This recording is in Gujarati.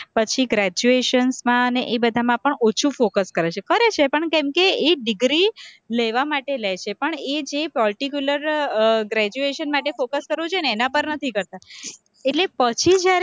પછી graduations માં અને એ બધામાં પણ ઓછું focus કરે છે, કરે છે પણ કેમકે એ degree લેવા માટે લે છે, પણ એ જે particular graduation માટે focus કરવું જોઈએ ને એના પર નથી કરતા, એટલે પછી જયારે